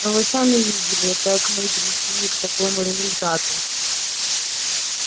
а вы сами видели как мы пришли к такому результату